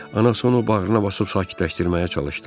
Anası onu bağrına basıb sakitləşdirməyə çalışdı.